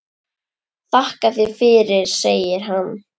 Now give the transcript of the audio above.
Þakka þér fyrir, segir hann.